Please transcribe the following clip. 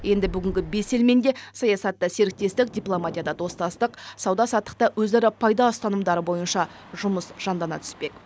енді бүгінгі бес елмен де саясатта серіктестік дипломатияда достастық сауда саттықта өзара пайда ұстанымдары бойынша жұмыс жандана түспек